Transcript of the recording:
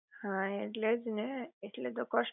હા એટલે જ ને ઍટલે તો કસ્ટ